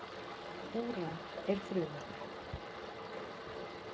Úran er frumefni.